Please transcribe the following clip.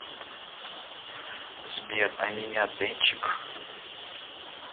сбер а меня дэнчик